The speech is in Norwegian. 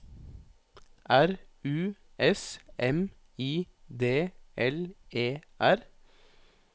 R U S M I D L E R